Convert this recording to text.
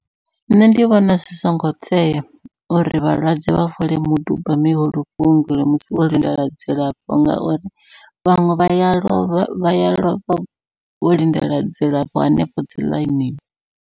Nṋe ndi vhona zwi songo tea uri vhalwadze vha fole muduba mihulu vhuongeloni musi vho lindela dzilafho, ngauri vhaṅwe vha ya lovha vha ya lovha vho lindela dzilafho hanefho dzi ḽainini.